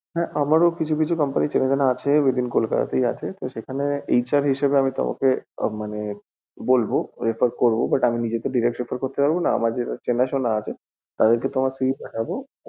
হ্যাঁ আমারো কোম্পানি চেনা জানা আছে যেগুলো within কলকাতা তেই আছে, তো সেখানে HR হিসেবে আমি তোমাকে উম মানে বলবো, refer করবো but আমি নিজে তো direct recruit করতে তো পারবনা, আমার যে চেনা শুনা আছে, ওই যে তোমার CV টা